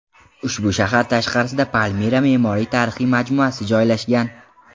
Ushbu shahar tashqarisida Palmira me’moriy-tarixiy majmuasi joylashgan.